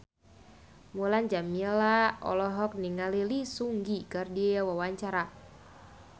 Mulan Jameela olohok ningali Lee Seung Gi keur diwawancara